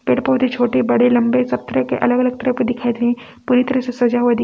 पेड़ पौधे छोटे बड़े लंबे सब तरह के अलग अलग तरह दिखाई दे पूरी तरह से सजा हुआ दी--